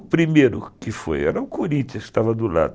O primeiro que foi, era o Corinthians que estava do lado.